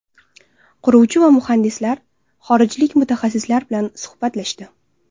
Quruvchi va muhandislar, xorijlik mutaxassislar bilan suhbatlashdi.